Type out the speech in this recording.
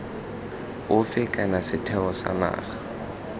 ofe kana sethwe sa naga